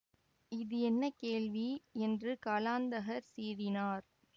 இது என்ன கேள்வி என்று காலாந்தகர் சீறினார்